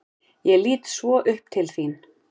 Ég lít svo upp til þín.